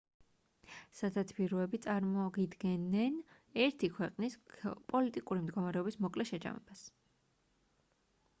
სათათბიროები წარმოგიდგენენ ერთი ქვეყნის პოლიტიკური მდგომარეობის მოკლე შეჯამებას